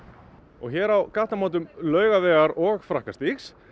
og hér á gatnamótum Laugavegar og Frakkastígs